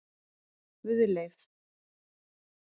Guðleif